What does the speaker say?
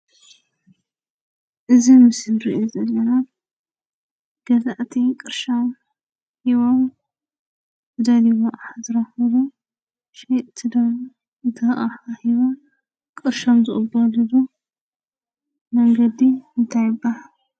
እዚ ምስሊ እንሪኦ ዘለና ገዛእቲ ቅርሾም ሂቦም ዝደለይዎ ኣቕሓ ዝረኽብሉ ሸየጥቲ ድማ እቲ ኣቕሓ ሂቦም ቅርሾም ዝቕበልሉ መንገዲ እንታይ ይብሃል?